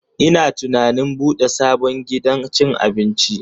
Ina tunanin bude sabon gidan cin abinci.